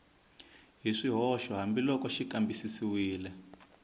hi swihoxo hambiloko xi kambisisiwile